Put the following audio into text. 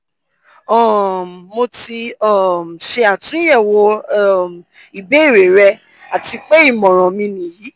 um mo ti um ṣe atunyẹwo um ibeere rẹ ati pe imọran mi niyi